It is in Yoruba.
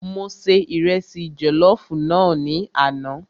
Mo se Ìrẹsi jọ̀lọ́fùú náà ní àná.